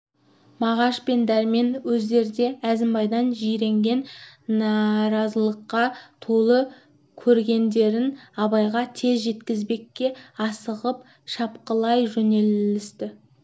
мағаш пен дәрмен өздері де әзімбайдан жиренген наразылыққа толып көргендерін абайға тез жеткізбекке асығып шапқылай жөнелісті